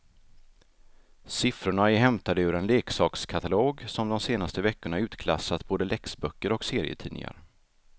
Siffrorna är hämtade ur en leksakskatalog som de senaste veckorna utklassat både läxböcker och serietidningar.